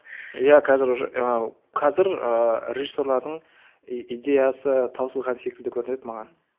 иә қазір уже і қазір ііі режиссерлердің идеясы таусылған секілді көрінеді маған